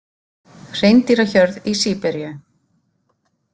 Hreindýrahjörð í Síberíu.